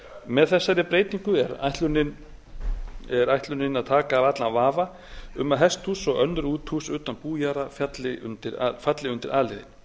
með þessari breytingu er ætlunin að taka af allan vafa um að hesthús og önnur útihús utan bújarða falli undir a liðinn það að